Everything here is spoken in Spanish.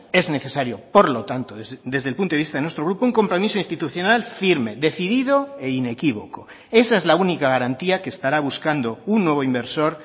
es necesario por lo tanto desde el punto de vista de nuestro grupo un compromiso institucional firme decidido e inequívoco esa es la única garantía que estará buscando un nuevo inversor